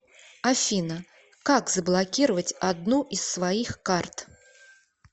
афина как заблокировать одну из своих карт